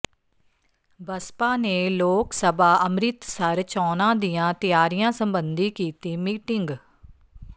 ਬਸਪਾ ਨੇ ਲੋਕ ਸਭਾ ਅੰਮ੍ਰਿਤਸਰ ਚੌਣਾਂ ਦੀਆਂ ਤਿਆਰੀਆਂ ਸਬੰਧੀ ਕੀਤੀ ਮੀਟਿੰਗ